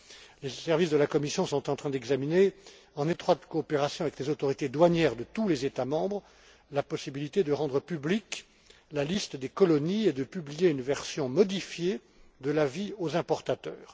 Les services de la Commission sont en train d'examiner, en étroite coopération avec les autorités douanières de tous États membres, la possibilité de rendre publique la liste des colonies et de publier une version modifiée de l'avis aux importateurs.